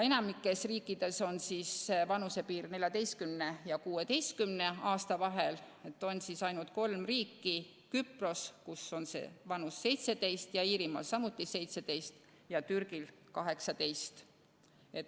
Enamikus riikides on vanusepiir vahemikus 14 kuni 16 aastat, sellest on ainult kolm erandit: Küprosel on see vanus 17 aastat ja Iirimaal samuti 17, Türgis aga 18.